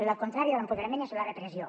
la contrària de l’empoderament és la repressió